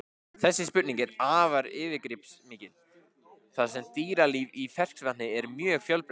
Þessi spurning er afar yfirgripsmikil þar sem dýralíf í ferskvatni er mjög fjölbreytt.